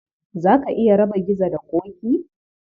Za ka iya raba Gizo da Ƙoƙi?